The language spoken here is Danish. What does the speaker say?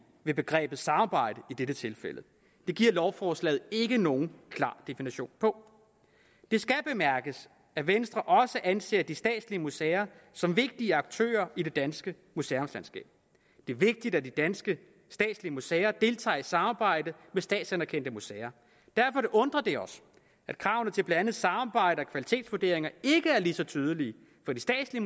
ved begrebet samarbejde i dette tilfælde det giver lovforslaget ikke nogen klar definition på det skal bemærkes at venstre også anser de statslige museer som vigtige aktører i det danske museumslandskab det er vigtigt at de danske statslige museer deltager i samarbejdet med statsanerkendte museer derfor undrer det os at kravene til blandt andet samarbejde og kvalitetsvurderinger ikke er lige så tydelige for de statslige